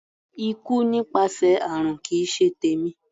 Ikú nípasẹ̀ àrùn kì í ṣe tèmi.